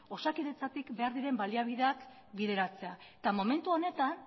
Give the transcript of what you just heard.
osakidetzatik behar diren baliabideak bideratzea eta momentu honetan